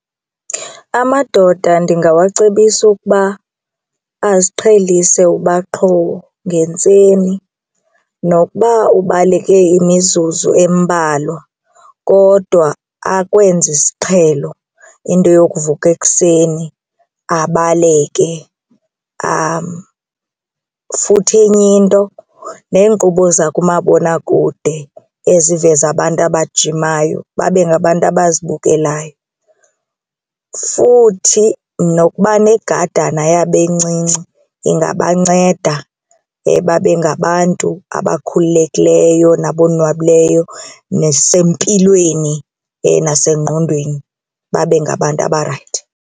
Amadoda ndingawacebisa ukuba aziqhelise uba qho ngentseni nokuba ubaleke imizuzu embalwa kodwa akwenze isiqhelo into yokuvuka ekuseni abaleke futhi enye into neenkqubo zakumabonakude eziveza abantu abajimayo babe ngabantu abazibukelayo. Futhi nokuba negadana yabo encinci ingabanceda babe ngabantu abakhululekileyo nabo abonwabileyo nasempilweni nasengqondweni babe ngabantu abarayithi.